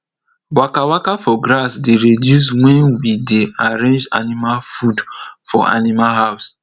waka waka for grass dey reduce wen we dey arrange animal food for animal house